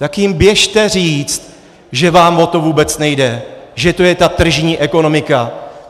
Tak jim běžte říct, že vám o to vůbec nejde, že to je ta tržní ekonomika.